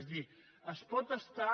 és a dir es pot estar